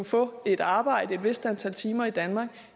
få et arbejde et vist antal timer i danmark